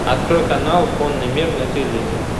открой канал конный мир на телевизоре